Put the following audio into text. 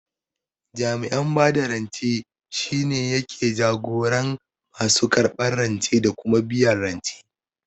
Jami'in bada rance shine yake jagoran masu karɓan rance da kuma biyan rance